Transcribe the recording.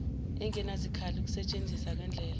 engenazikhali ukusentshenzisa kwendlela